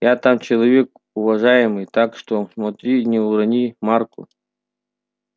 я там человек уважаемый так что смотри не урони марку